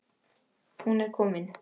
Hún er komin